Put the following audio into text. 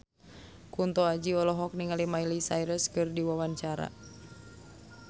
Kunto Aji olohok ningali Miley Cyrus keur diwawancara